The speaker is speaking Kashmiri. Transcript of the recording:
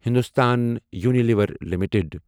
Hindustan Unilever limited